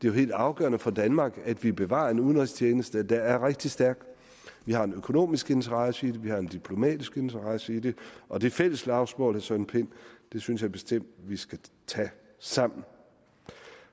er helt afgørende for danmark at vi bevarer en udenrigstjeneste der er rigtig stærk vi har en økonomisk interesse i det vi har en diplomatisk interesse i det og det fælles slagsmål søren pind synes jeg bestemt at vi skal tage sammen